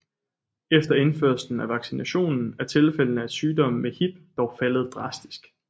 Efter indførelsen af vaccinationen er tilfældene af sygdom med Hib dog faldet drastisk